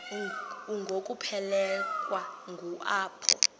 ngokuphelekwa ngu apho